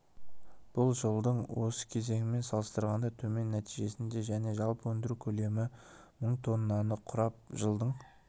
бұл жылдың осы кезеңімен салыстырғанда төмен нәтижесінде және жалпы өндіру көлемі мың тоннаны құрап жылдың